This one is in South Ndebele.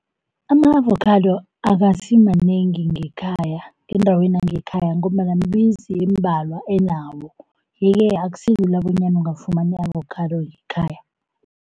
Ama-avokhado akasimanengi ngekhaya, endaweni yangekhaya ngombana mimizi embalwa enawo. Yeke akusilula bonyana ungafumana i-avokhado yekhaya.